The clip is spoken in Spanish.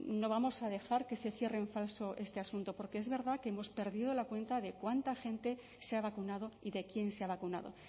no vamos a dejar que se cierre en falso este asunto porque es verdad que hemos perdido la cuenta de cuánta gente se ha vacunado y de quién se ha vacunado